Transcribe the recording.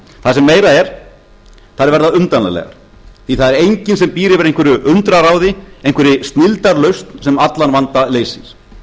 það sem meira er þær verða umdeilanlegar því það er enginn sem býr yfir einhverju undraráði einhverri snilldarlausn sem allan vanda leysir við höfum séð hvernig